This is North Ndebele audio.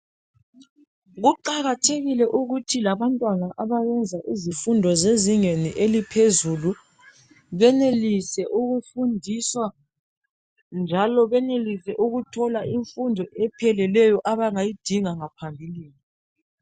Kuqakathekile ukuthi labantwana abenza izifundo zezingeni eliphezulu benelise ukufundiswa, njalo benelise ukuthola imfundo epheleleyo abangayidinga phambili.